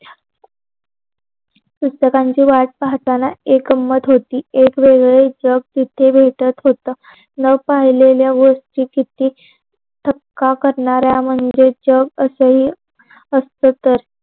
पुस्तकांची वाट पाहताना एक गंमत होती. एक वेगवेगळी जग तिथ भेटत होत. न पाहलेलय गोष्टी किती थपक्या करणाऱ्या मंजे जग असही असत तर